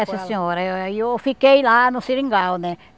Essa senhora, eu fiquei lá no seringal, né?